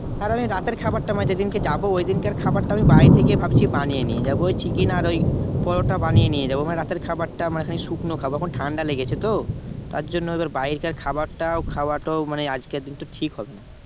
তাহলে আমি রাতের খাবারটা অনেক যেদিন কে যাব ওইদিনকার খাবারটা আমি বাড়ি থেকেই ভাবছি বানিয়ে নিয়ে যাব। ওই Chicken আর ওই পরোটা বানিয়ে নিয়ে যাব। মানে রাতের খাবারটা মানে খানিক শুকনো খাবো এখন ঠান্ডা লেগেছে তো তার জন্য এবার বাইরের খাবারটা খাওয়াটাও মানে আজকের দিন ঠিক হবে না।